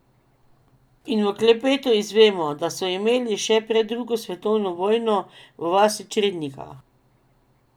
In v klepetu izvemo, da so imeli še pred drugo svetovno vojno v vasi črednika.